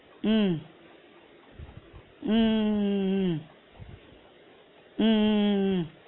உம் உம் உம் உம் உம் உம் உம் உம்